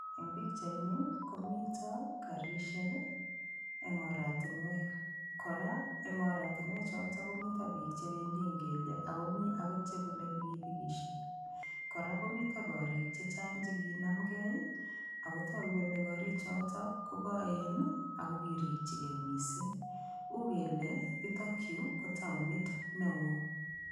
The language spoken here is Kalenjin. Eng' pikchaini komito karishek eng' oratinwek kora eng' oratinwe choto komito biik chebendi eng' kelyek akomi akot chebunei pikipikishek kora komito korik chechang' chekinamgei akotoku kole korichoto kokoten ako kirikchigei mising' uu kele yutokyu ko taonit ne oo